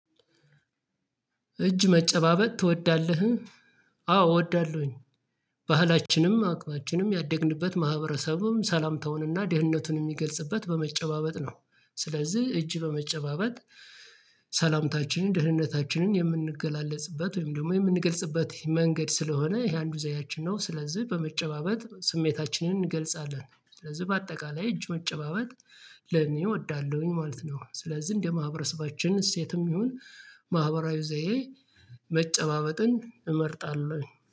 እጅ መጨባበጥ ትወዳለህ? አዎ እወዳለሁኝ። ባህላችንም አቅማችንም ያደግንበት ማህበረሰቡም ሰላምተውንና ደህንነቱን የሚገልጽበት በመጨባበጥ ነው ስለዚህ እጅ በመጨባበጥ ሰላምታችንን ደህንነታችንን የምንገላለጽበት ወይም ደግሞ የምንገልጽበት መንገድ ስለሆነ ይሄ አንዱ ዘያችን ነው። ስለዚህ በመጨባበጥ ስሜታችንን እንገልጻለን። ስለዚህ በአጠቃላይ እጅ መጨባበት ለኔ እወዳለሁኝ ማለት ነው። ስለዚህ እንደ ማህበረሰባችን እሴትም ይሁን ማህበራዊ ዘይ መጨባበጥን እመርጣለሁ